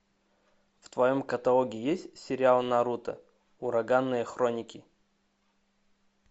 в твоем каталоге есть сериал наруто ураганные хроники